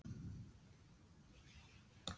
beint gagnvart tjónþola og síðari dreifingaraðilum?